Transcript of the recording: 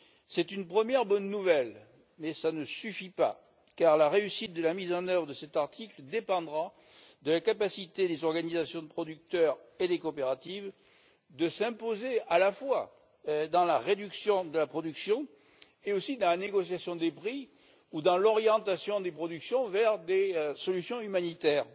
C'est une première bonne nouvelle, mais cela ne suffit pas, car la réussite de la mise en œuvre de cet article dépendra de la capacité des organisations de producteurs et des coopératives de s'imposer à la fois dans la réduction de la production et aussi dans la négociation des prix ou dans l'orientation des productions vers des solutions humanitaires.